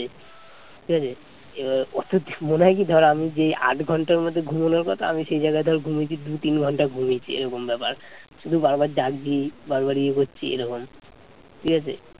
আমি যে আট ঘণ্টার মতো ঘুমানোর কথা আমি সেই জায়গায় ধর ঘুমিয়েছি দু তিন ঘন্টা ঘুমিয়েছি এরকম ব্যাপার শুধু বারবার জাগছি বারবার ইয়ে করছি এরকম ঠিক আছে